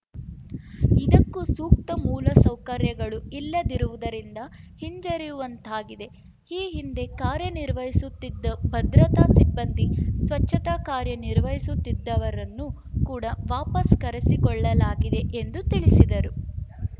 ಇದಕ್ಕೂ ಸೂಕ್ತ ಮೂಲಸೌಕರ್ಯಗಳು ಇಲ್ಲದಿರುವುದರಿಂದ ಹಿಂಜರಿಯುವಂತಾಗಿದೆ ಈ ಹಿಂದೆ ಕಾರ್ಯ ನಿರ್ವಹಿಸುತ್ತಿದ್ದ ಭದ್ರತಾ ಸಿಬ್ಬಂದಿ ಸ್ವಚ್ಛತಾ ಕಾರ್ಯ ನಿರ್ವಹಿಸುತ್ತಿದ್ದವರನ್ನು ಕೂಡ ವಾಪಸ್‌ ಕರೆಸಿಕೊಳ್ಳಲಾಗಿದೆ ಎಂದು ತಿಳಿಸಿದರು